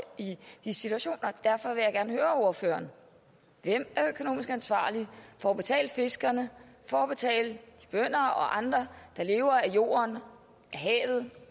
i de situationer derfor vil jeg gerne høre ordføreren hvem er økonomisk ansvarlig for at betale fiskerne for at betale de bønder og andre der lever af jorden af havet